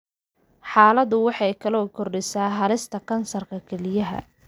Xaaladdu waxay kaloo kordhisaa halista kansarka kelyaha.